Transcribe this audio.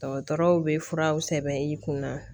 Dɔgɔtɔrɔw bɛ furaw sɛbɛn i kunna